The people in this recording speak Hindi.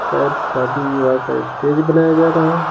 शायद शादी विवाह का स्टेज बनाया जा रहा है।